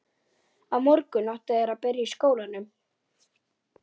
Því fylgir líka ábyrgð.